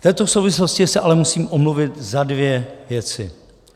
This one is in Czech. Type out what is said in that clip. V této souvislosti se ale musím omluvit za dvě věci.